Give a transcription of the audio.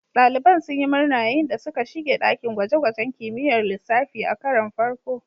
Daliban sun yi murna yayin da suka shiga dakin gwaje-gwajen kimiyyar lissafi a karon farko.